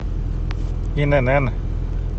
инн